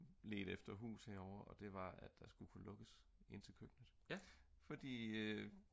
ledte efter hus herovre og det var at der skulle lukkes ind til køkkenet fordi